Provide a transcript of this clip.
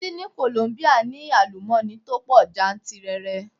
Títí ní Kolombia ní àlùmọ́ni tó pọ̀ jantìrẹrẹ.